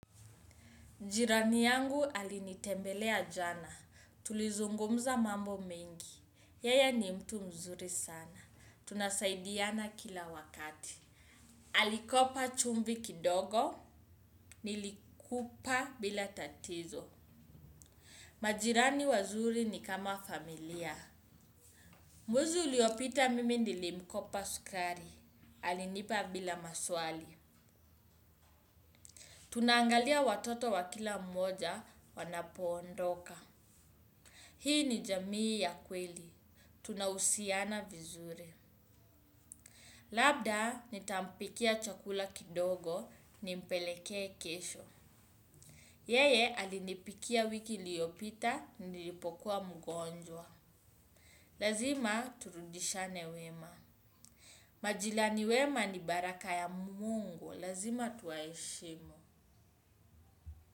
Jirani yangu alinitembelea jana, tulizungumza mambo mengi, yeye ni mtu mzuri sana, tunasaidiana kila wakati. Alikopa chumbi kidogo, nilikupa bila tatizo. Majirani wazuri ni kama familia. Mwezi uliopita mimi nilimkopa sukari, alinipa bila maswali. Tunaangalia watoto wa kila mmoja wanapoondoka. Hii ni jamii ya kweli, tunahusiana vizuri. Labda, nitampikia chakula kidogo, nimpelekee kesho. Yeye, alinipikia wiki iliopita, nilipokua mgonjwa. Lazima, turudishane wema. Majirani wema ni baraka ya Mungu, lazima tuwaheshimu.